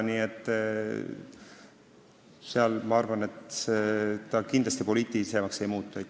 Nii et ma arvan, et selle raha jagamine seal kindlasti poliitilisemaks ei muutu.